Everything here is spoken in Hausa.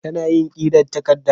Kana yin ƙirar takarda?